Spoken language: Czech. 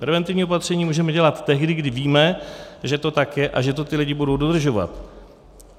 Preventivní opatření můžeme dělat tehdy, kdy víme, že to tak je a že to ti lidé budou dodržovat.